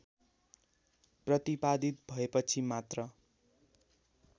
प्रतिपादित भएपछि मात्र